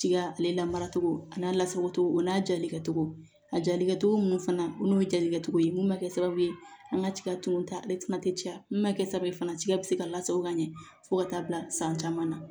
Tiga ale lamara cogo a n'a lasago cogo o n'a jali kɛ togo a jalikɛ cogo ninnu fana n'o ye jalikɛcogo ye mun bɛ kɛ sababu ye an ka tiga tun ta ale fana tɛ caya min ma kɛ sabu fana tiga bɛ se ka lasago ka ɲɛ fo ka taa bila san caman na